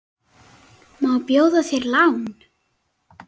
Má bjóða þér lán?